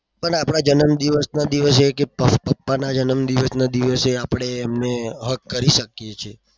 પણ આપડા જન્મદિવસના દિવસે કે પાપાના જન્મદિવસના દિવસે આપણે એમને hug કરી શકીએ છીએ.